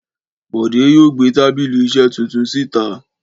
Bọ̀dé yóò gbé tábìlì iṣẹ̀ tuntun síta